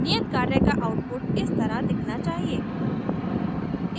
नियत कार्य का output इस तरह दिखना चाहिए